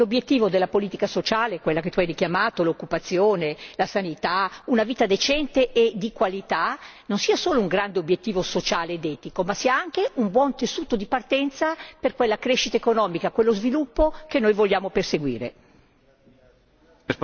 Credo proprio che l'obiettivo della politica sociale quella che tu hai richiamato, l'occupazione, la sanità, una vita decente e di qualità non sia solo un grande obiettivo sociale ed etico, ma anche un buon punto di partenza per la crescita economica e lo sviluppo che vogliamo perseguire.